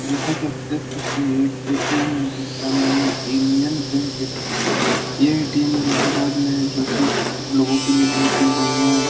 जैसा कि आप देख सकते है ये एक ए. टी. एम. है जिसका नाम है एनियन बैंक ए.टी.एम. । ये ए. टी. एम. इलाहाबाद में है जो कि लोगों के लिए बहुत ही बढ़िया है।